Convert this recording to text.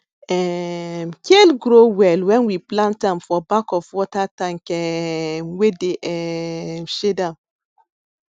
um kale grow well when we plant am for back of water tank um wey dey um shade am